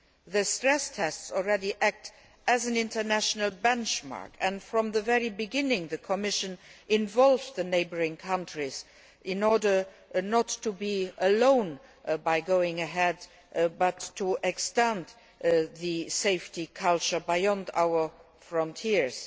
The stress tests are already acting as an international benchmark, and from the very beginning the Commission involved the neighbouring countries, in order not to be alone in going ahead with these, but to extend the safety culture beyond our frontiers.